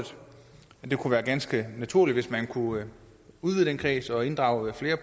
det kunne være ganske naturligt hvis man kunne udvide den kreds og inddrage flere